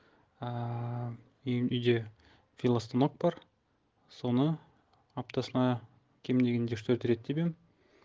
ыыы үй үйде велостанок бар соны аптасына кем дегенде үш төрт рет тебемін